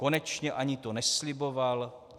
Konečně, ani to nesliboval.